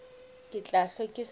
ke tla hlwe ke sa